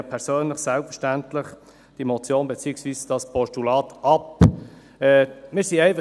Ich persönlich lehne diese Motion beziehungsweise dieses Postulat selbstverständlich ab.